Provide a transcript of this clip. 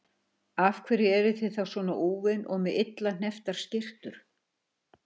Af hverju eruð þið þá svona úfin og með illa hnepptar skyrtur?